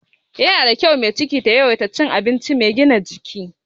Ana son mai ciki ta yawaita cin abinci mai gina jiki.